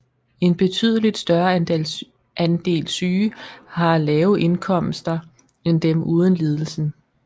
En betydeligt større andel syge har lave indkomster end dem uden lidelsen